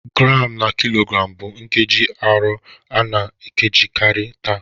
Gramu na kilogramu bụ nkeji arọ a na-ejikarị taa.